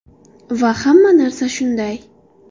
Va hamma narsada shunday.